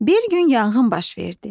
Bir gün yanğın baş verdi.